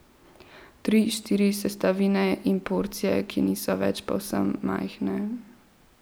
Tri, štiri sestavine in porcije, ki niso več povsem majhne.